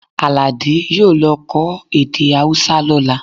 Àlàdé yóò lọ kọ́ èdè Hausa lọ́la